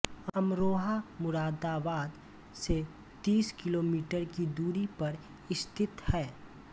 अमरोहा मुरादाबाद से तीस किलोमीटर की दूरी पर स्थित है